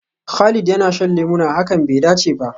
Khalid yana shan lemuna, hakan bai dace ba.